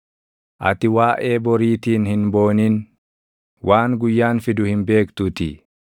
Ati waaʼee boriitiin hin boonin; waan guyyaan fidu hin beektuutii.